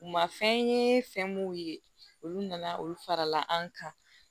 U ma fɛn ye fɛn mun ye olu nana olu farala an kan